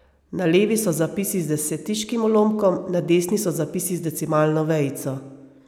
Na levi so zapisi z desetiškim ulomkom, na desni so zapisi z decimalno vejico.